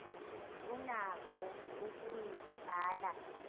unako ukuyi bhala